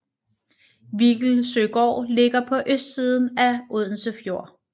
Viggelsøgård ligger på østsiden af Odense Fjord